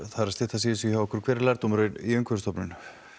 að styttast í þessu hjá okkur hver er lærdómur umhverfisstofunar